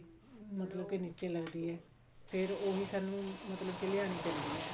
ਮਤਲਬ ਕਿ ਨੀਚੇ ਲੱਗਦੀ ਹੈ ਫ਼ੇਰ ਉਹੀ ਸਾਨੂੰ ਮਤਲਬ ਕਿ ਲਿਆਉਣੀ ਪੈਂਦੀ ਹੈ